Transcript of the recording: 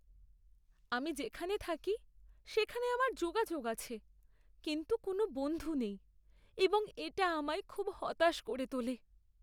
আমি যেখানে থাকি সেখানে আমার যোগাযোগ আছে কিন্তু কোনও বন্ধু নেই এবং এটা আমায় খুব হতাশ করে তোলে।